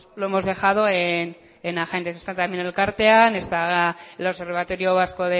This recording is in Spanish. lo hemos dejado en agentes está también elkartean el observatorio vasco